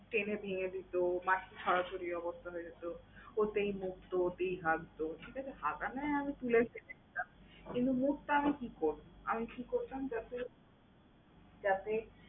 টেনে ভেঙ্গে দিতো, মাটি ছড়াছড়ির অবস্থা হয়ে যেতো, ওতেই মুততো, ওতেই হাগতো। ওর হাগা না হয় আমি তুলে ফেলে দিতাম কিন্তু ওর মুতা আমি কি করবো? আমি কি করতাম যাতে যাতে